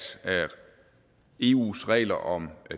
eus regler om